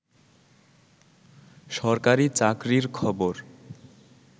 সরকারি চাকরির খবর